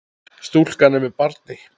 Stúlkan er með barni.